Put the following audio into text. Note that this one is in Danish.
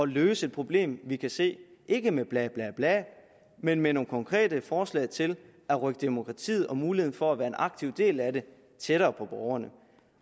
løse et problem vi kan se ikke med blablabla men med nogle konkrete forslag til at rykke demokratiet og muligheden for at være en aktiv del af det tættere på borgerne